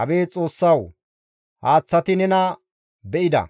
Abeet Xoossawu! Haaththati nena be7ida;